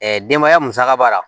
denbaya musaka b'a la